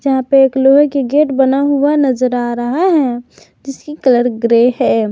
यहां पे एक लोहे के गेट बना हुआ नजर आ रहा है जिसकी कलर ग्रे है।